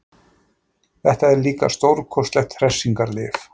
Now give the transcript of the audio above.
Þetta er líka stórkostlegt hressingarlyf.